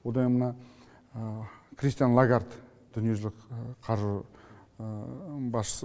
одайн мына кристин лагард дүниежүзілік қаржы басшысы